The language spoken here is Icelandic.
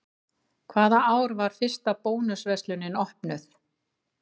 Hvaða ár var fyrsta Bónus verslunin opnuð?